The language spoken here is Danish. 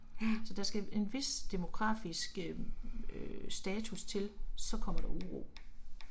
Så der skal en vis demokrafisk øh øh status til, så kommer der uro